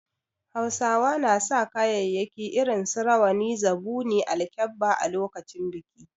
Hausawa na sa kayayyaki irin su Rawani, Zubuni, alkebba a lokacin biki.